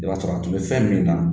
I b'a sɔrɔ a tun bɛ fɛn min na